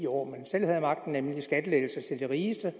år man selv havde magten nemlig at skattelettelser til de rigeste